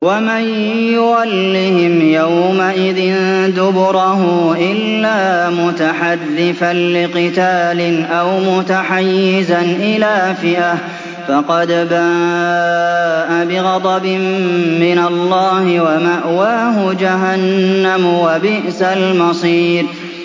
وَمَن يُوَلِّهِمْ يَوْمَئِذٍ دُبُرَهُ إِلَّا مُتَحَرِّفًا لِّقِتَالٍ أَوْ مُتَحَيِّزًا إِلَىٰ فِئَةٍ فَقَدْ بَاءَ بِغَضَبٍ مِّنَ اللَّهِ وَمَأْوَاهُ جَهَنَّمُ ۖ وَبِئْسَ الْمَصِيرُ